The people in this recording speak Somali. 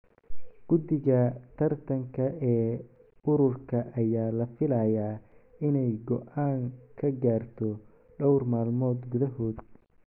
Guddiga tartanka ee ururka ayaa la filayaa inay go’aan ka gaarto dhowr maalmood gudahood.